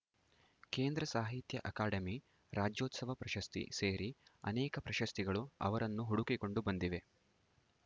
ಕೇಂದ್ರ ಸಾಹಿತ್ಯ ಅಕಾಡೆಮಿ ರಾಜ್ಯೋತ್ಸವ ಪ್ರಶಸ್ತಿ ಸೇರಿ ಅನೇಕ ಪ್ರಶಸ್ತಿಗಳು ಅವರನ್ನು ಹುಡುಕಿಕೊಂಡು ಬಂದಿವೆ